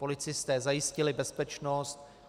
Policisté zajistili bezpečnost.